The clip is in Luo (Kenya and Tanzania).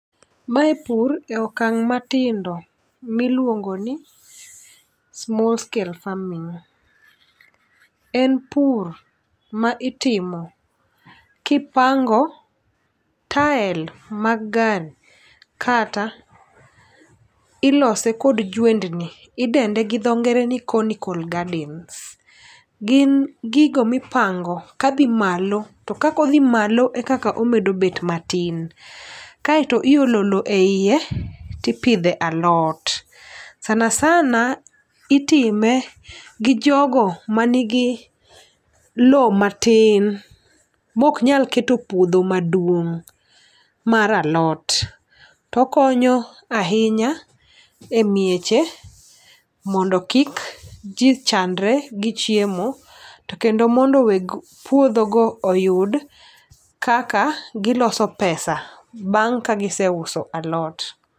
Mae pur ekang' matindo miluongo ni small scale farming . En pur ma itimo kipango tael mag gari kata ilose kod jwendni odende gi dho ngere ni conical gardens gin gigo mipango ka dhi malo to kako dhi malo e kano medo bet matin. Kaeto iolo loo e iye tipidhe alot sanasana itime gi jogo manigi loo matin mok nyal keto puodho maduong' mar alot. Tokonyo ahinya e weche mondo kik jii chandre gi chiemo to kendo mondo weg puodho go oyud kaka giloso pesa bang' ka giseuso alot.